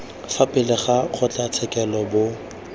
fa pele ga kgotlatshekelo bo